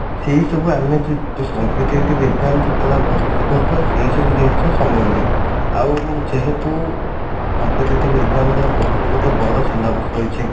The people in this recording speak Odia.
ସେଇ ସବୁ ଯଉ competitive exam ଯେତେବେଳେ ଆମେ ପ୍ରସ୍ତୁତି କରୁଥିବା ସେଇ ସବୁ ଜିନିଷ ସମୟ ନିଏ ଆଉ ଯେହେତୁ competitive exam ର ବହୁତ ଗୋଟେ ବଡ syllabus ରହିଛି